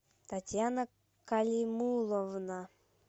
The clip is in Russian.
татьяна калимуловна